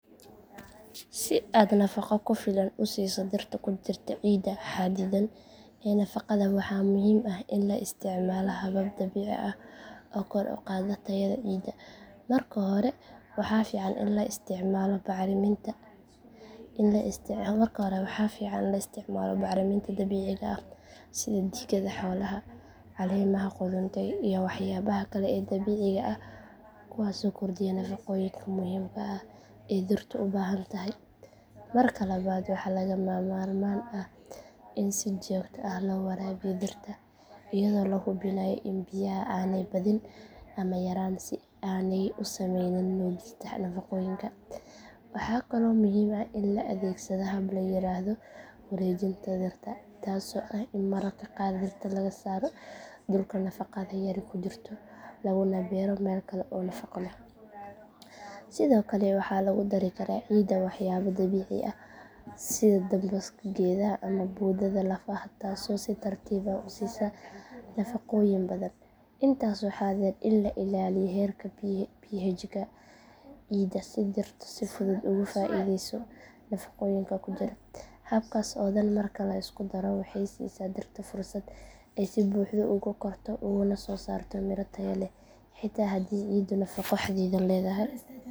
Si aada nafaqo ku filan u siiso darta ku dirta ciida xadidaa l hela faqada waxaa muhiim ah in la isticmaalo habab dabiici ah ah kor u qaadno tayada ciidda marka hore waxaa fiican in la isticmaalo bacriminta in la isticmaalo karo waxaa fiican la isticmaalo bacriminta dabiiciga ah sida digada xoolaha caleemaha quruntay iyo waxyaabaha kale ee dabicigaa kuwaas oo kordiya nafaqo qoyinka muhiim kaa ee Dartaa u baahan tahay marka labad waxaa laga ma maarmaan ah in si jir ah loo waraabiyo dartaa iyadoo lagu bilay in biyaha aanay badin ama yaraan si aanay u sameyn muujisana waqooyinka waxaa kaloo muhiim ah in la adeegsaday hablayiraahdo wareejinta tagta taasoo ah in marka qaadista laga saaro dhulka nafaqada yari ku jirto labo libero meel kale oo nafaqo wah yaba dabicigaa eh sida dambas geedaha ama boodada la fahad taasoo si tartiib ah u siisa nafaqooyin badan intaas waxaa dheer in la ilaaliyo heerka ph Idil dirto si fudud uga faa'iidayso nafaqooyinka ku jira habkaas oo dhan marka la isku daro waxay siisaa dirta fursad ay si buuxda uga korto una sosarto miro Taya leh.